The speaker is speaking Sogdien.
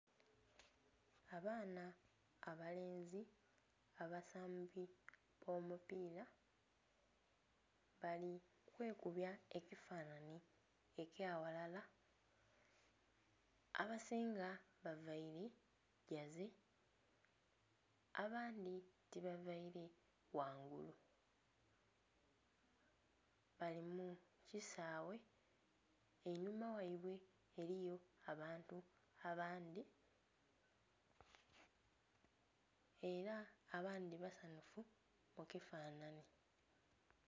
Abaana abalenzi abasambi b'omupiira bali kwekubya ekifanhanhi ekya ghalala. Abasinga bavaile Jersey, abandi tibavaile ghangulu. Bali mu kisaawe, einhuma ghaibwe eliyo abantu abandhi. Ela abandhi basanhufu mu kifanhanhi.